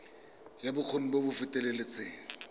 ya bokgoni jo bo feteletseng